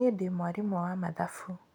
Nĩĩ ndĩ mwarimũ wa mathabu.